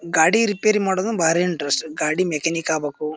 ಗಾಡಿ ರಿಪೇರಿ ಮಾಡೋದು ಭಾರಿ ಇಂಟ್ರೆಸ್ಟ್ ಗಾಡಿ ಮೆಕ್ಯಾನಿಕ್ ಆಗ್ಬೇಕು --